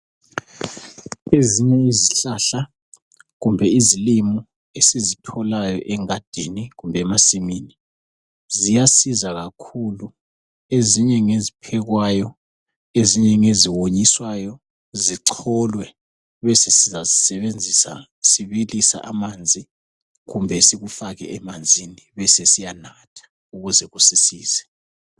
Ezinye izihlahla kumbe izilimo esizitholayo engadini kumbe emasimini ziyasiza kakhulu, ezinye ngeziphekwayo ezinye ngeziwonyiswayo zicholwe besesizazisebenzisa sibilisa amanzi kumbe sikufake emanzini besesiyanatha ukuze kusisize.